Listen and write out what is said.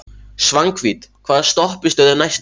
Svanhvít, hvaða stoppistöð er næst mér?